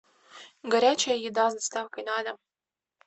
горячая еда с доставкой на дом